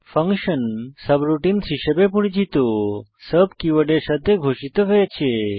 function subroutines হিসাবে পরিচিত sub কীওয়ার্ডের সাথে ঘোষিত হয়েছে